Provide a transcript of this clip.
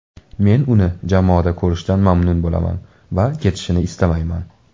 Men uni jamoada ko‘rishdan mamnun bo‘laman va ketishini istamayman.